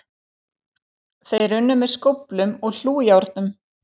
Þeir unnu með skóflum og hlújárnum